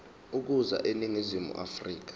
ukuza eningizimu afrika